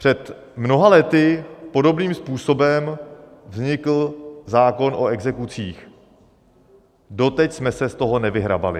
Před mnoha lety podobným způsobem vznikl zákon o exekucích, doteď jsme se z toho nevyhrabali.